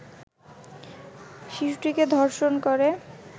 শিশুটিকে ধর্ষণ করে